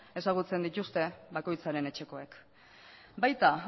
ezagutzen dituzte bakoitzaren etxekoek baita